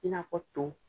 I n'a fɔ to